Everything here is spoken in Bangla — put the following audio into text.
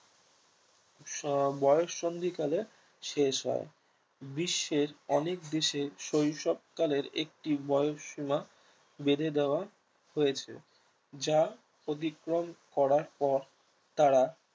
সব বয়োসন্ধি কালে শেষ হয় বিশ্বের অনেক দেশে শৈশবকালের একটি বয়সীমা বেঁধে দেওয়া হয়েছে যা অধিক্রম করার পর তারা